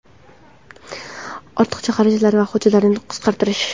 ortiqcha xarajatlar va hujjatlarni qisqartirish;.